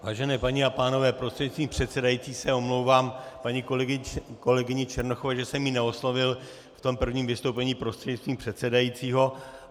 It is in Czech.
Vážené paní a pánové, prostřednictvím předsedající se omlouvám paní kolegyni Černochové, že jsem ji neoslovil v tom prvním vystoupení prostřednictvím předsedajícího.